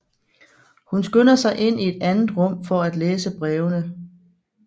Hun skynder sig ind i et andet rum for at læse brevene